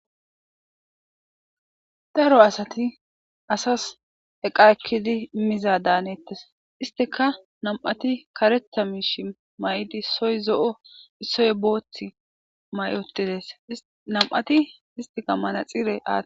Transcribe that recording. Daro asati asas eqa eqidi imiza daanetes istika nam'ati kaerta mayidi issoy zo'o issoy bootha mayutidaysa beses nam'ati manaxire aatutida.